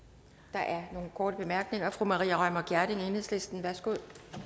der er nogle korte bemærkninger fru maria reumert gjerding enhedslisten værsgo